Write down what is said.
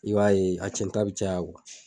I b'a ye a cɛn ta bi caya